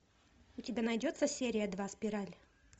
у тебя найдется серия два спираль